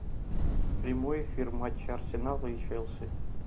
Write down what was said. прямой эфир матча арсенал и челси